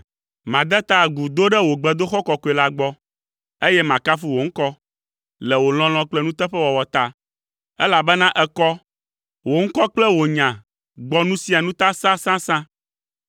Made ta agu do ɖe wò gbedoxɔ kɔkɔe la gbɔ, eye makafu wò ŋkɔ, le wò lɔlɔ̃ kple nuteƒewɔwɔ ta, elabena èkɔ, wò ŋkɔ kple wò nya gbɔ nu sia nu ta sãsãsã.